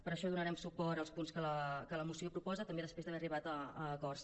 per això donarem suport als punts que la moció proposa també després d’haver arribat a acords